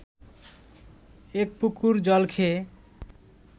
এক পুকুর জল খেয়ে